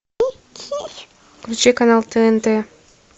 включи канал тнт